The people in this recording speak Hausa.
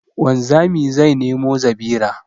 Wanzami zai nemo zabira